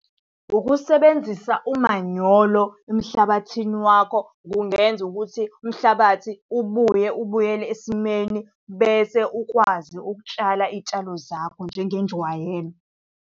Ukusebenzisa umanyolo emhlabathini wakho kungenza ukuthi umhlabathi ubuye ubuyele esimeni bese ukwazi ukutshala iy'tshalo zakho njengenjwayelo.